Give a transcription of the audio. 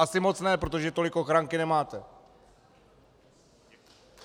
Asi moc ne, protože tolik ochranky nemáte!